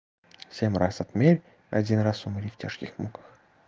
семь раз отмерь один раз умри в тяжких муках